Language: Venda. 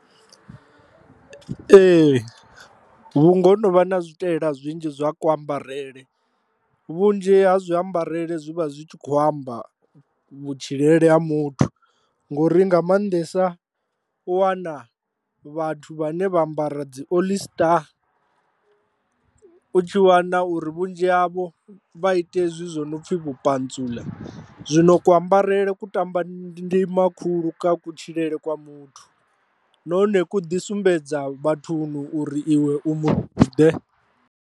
Ee, vhunga ho no vha na zwitaela zwinzhi zwa ku ambarele, vhunzhi ha zwi ambarele zwi vha zwi tshi kho amba vhutshiele ha muthu ngori nga maanḓesa u wana vhathu vhane vha ambara dzi oḽi star u tshi wana uri vhunzhi havho vha ite hezwi zwo no pfhi vhupantsuḽa, zwino kuambarele ku tamba ndima khulu kha kutshilele kwa muthu nahone ku ḓi sumbedza vhathuni uri iwe u muthu ḓe.